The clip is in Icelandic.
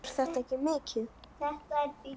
Er þetta mikið?